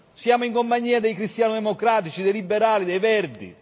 Siamo in compagnia dei cristiano democratici, dei liberali, dei Verdi.